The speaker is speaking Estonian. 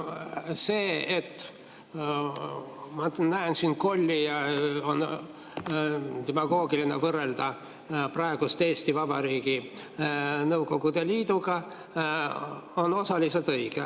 See, et ma näen siin kolli ja on demagoogiline võrrelda praegust Eesti Vabariiki Nõukogude Liiduga, on osaliselt õige.